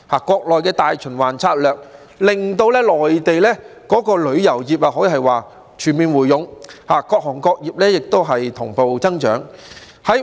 國內的"大循環策略"令到內地旅遊業全面回勇，各行各業同步增長。